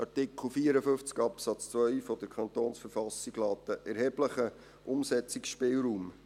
Artikel 54 Absatz 2 KV lässt einen erheblichen Umsetzungsspielraum.